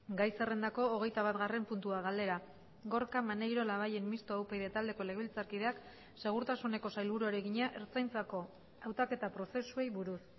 gai zerrendako hogeitabatgarren puntua galdera gorka maneiro labayen mistoa upyd taldeko legebiltzarkideak segurtasuneko sailburuari egina ertzaintzako hautaketa prozesuei buruz